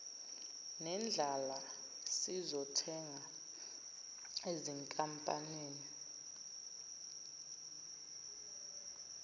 nendlala sizothenga ezinkampanini